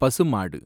பசுமாடு